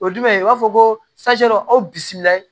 O ye jumɛn ye i b'a fɔ ko aw bisimilayi